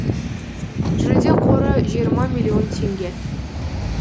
жүлде қоры жиырма миллион теңге